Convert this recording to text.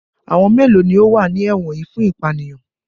Àwọn mélòó ni ó wà ní ẹ̀wọ̀n yìí fún ìpanìyàn?